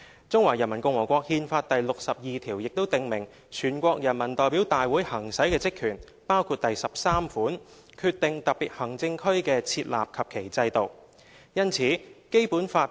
《中華人民共和國憲法》第六十二條亦訂明全國人民代表大會行使的職權，包括第項："決定特別行政區的設立及其制度"。